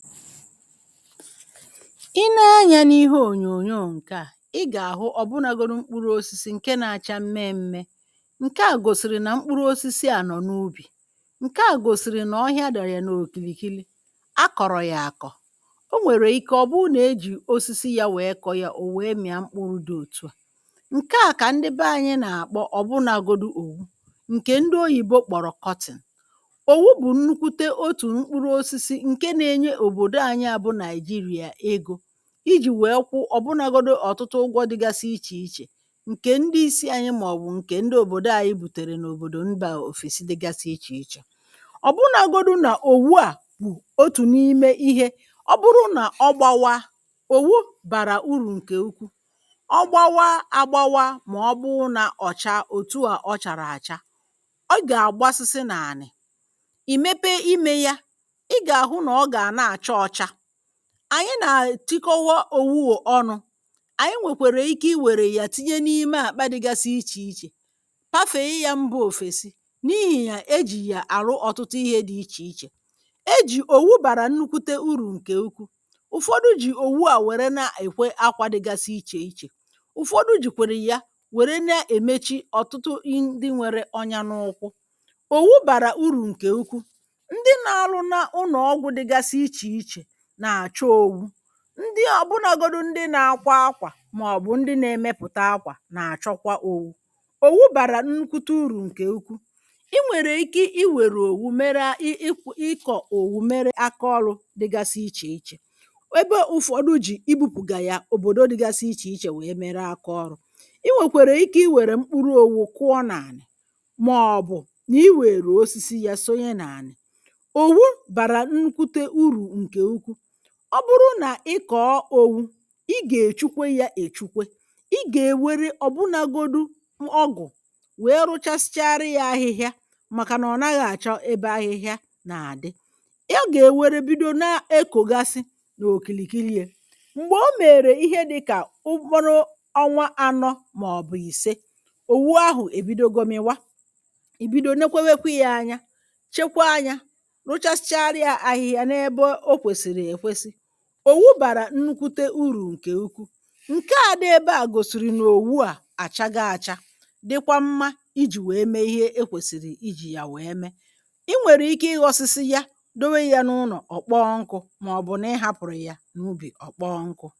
Ị nee anyȧ n’ihe ònyònyo ǹke à, ị gà-àhụ ọ̀bụnagodu mkpụrụ osisi ǹke na-acha mmẹ mmẹ ǹke à gòsìrì nà mkpụrụ osisi à nọ̀ n’ubì, ǹke à gòsìrì nà ọhịa dòrò yà n’òkìlì kili, akọ̀rọ̀ yà àkọ̀, o nwèrè ike ọ̀ bụrụ nà ejì osisi yȧ wee kọ yȧ ò wee mị̀a mkpụrụ dị òtù a, ǹke à kà ndị be anyị̇ nà-àkpọ ọ̀bụnagodu owu, ǹkè ndị oyìbo kpọ̀rọ̀ cotton. Owu bù nnukwute otù mkpụrụ osisi nke na enye obodo anyi bu Naijiria ego, iji̇ wèe kwụ ọ̀bụnagodu ọ̀tụtụ ụgwọ dịgasị ichè ichè ǹkè ndị isi̇ anyị màọ̀bụ̀ ǹkè ndị òbòdo à anyị bitèrè n’òbòdò mba òfèsi dịgasị ichè ichè, ọ̀bụnagodu nà òwùa bụ̀ otù n’ime ihė, ọbụrụ nà ọ gbȧwa, òwù bàrà urù ǹkè ukwu, ọ gbȧwa agbawa màọbụrụ nà ọ̀cha òtù ọ chàrà àcha ọ gà-àgbasịsị nànị̀, ìmepe imė ya, ị ga ahụ na ọ ga na achọ ọcha. Anyị nà-ètikowȧ òwu ò ọnụ̇, ànyị nwèkwèrè ike i wèrè yà tinye n’ime àkpá dịgasị ichè ichè hafè i yȧ mbȧ òfèsi n’ihì yà ejì yà àrụ ọ̀tụtụ ihe dị̇ ichè ichè. Ejì, òwu bàrà nnukwute urù ǹkè ukwuu, ụ̀fọdụ jì òwu à wère nà-èkwe akwȧ dịgasị ichè ichè, ụ̀fọdụ jì kwèrè ya wère na-èmechi ọ̀tụtụ ndị nwere ọnya n’ụkwụ. Owu bàrà urù ǹkè ukwu, ndi na aru na n’unọ ọgwụ dịgasị ịche ịche, na-acho owu, ndị ọ̀bụnọgodu ndị na-akwa akwà màọ̀bụ̀ ndị na-emepụ̀ta akwà nà-àchọkwa owu̇. Owu bàrà nnkwute urù ǹkè ukwuu. Ị nwèrè ike i wèrè òwu mere ị ị ịkọ̇ òwu mere akaọrụ̇ dịgasị ichè ichè, ebe ụ̀fọdụ jì ibu̇pùgà yà òbòdo dịgasị ichè ichè wèe mere akaọrụ. i nwèkwèrè ike i wère mkpụrụ òwu̇ kụọ nà ànị̀, màọ̀bụ̀ nà i wèrè osisi yȧ sonye nà ànị̀. Owu bara nnukwute uru nke ukwuu; ọ bụrụ nà ị kọ̀ọ òwu̇, ị gà-èchukwe yȧ èchukwe, ị gà-èwere ọ̀bụnȧgodu ọgụ̀ nwèe rụchasịchara yȧ ahịhịa màkà nà ọ̀ naghị̇ àchọ ebe ahịhịa nà-àdị. Ya gà-èwere bido na-ekògasị n’òkìlìkili ye, m̀gbè o mèrè ihe dịkà mkpụrụ ọnwa anọ màọ̀bụ̀ ìse, òwu ahụ̀ èbido gọmịwa, ìbido newekwe yȧ anya, chekwaa yȧ, rụchasịchara yȧ ahịhịa n’ebe ò kwesiri ekwesi. Owu bara nnukwute urù ǹkè ukwuu, ǹkè adị ebe à gòsìrì nà òwù à àchago achà, dịkwa mmȧ ijì nwèe mee ihe e kwèsìrì ijì nwèe mee, i nwèrè ike ịghọ̇sịsị yȧ ,dewe ya n’ụnọ̀, ọ̀ kpọọ nkụ̇, màọ̀bụ̀ na ị hapụ̀rụ̀ ya n’ubì ọ̀ kpọọ nkụ̇.